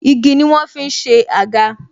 Igi ni wọ́n ń fi ṣe àga